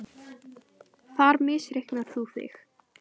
Þar misreiknar þú þig.